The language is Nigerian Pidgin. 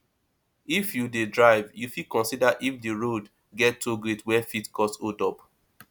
if you dey drive you fit consider if di road get toll gate wey fit cause hold up